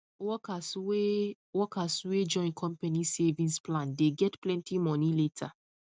workers wey workers wey join company savings plan dey get plenty money later